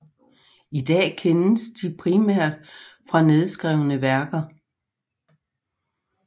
I dag kendes de primært fra nedskrevne værker